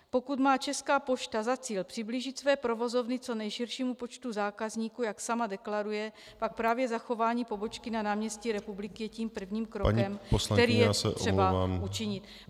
Pokud má Česká pošta za cíl přiblížit své provozovny co nejširšímu počtu zákazníků, jak sama deklaruje, pak právě zachování pobočky na náměstí Republiky je tím prvním krokem , který je třeba učinit.